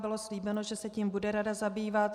Bylo slíbeno, že se tím bude rada zabývat.